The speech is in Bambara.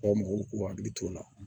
Aw mɔgɔw k'u hakili t'o la